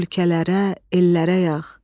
Ölkələrə, ellərə yağ.